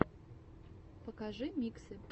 покажи миксы